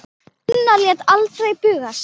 Gunnar lét aldrei bugast.